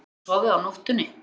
Hefur hún sofið á nóttunni?